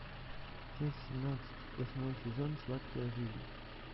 часть семнадцать восьмой сезон сладкая жизнь